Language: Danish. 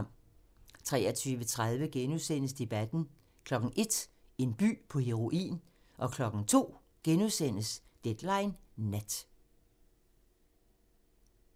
23:30: Debatten * 01:00: En by på heroin 02:00: Deadline Nat *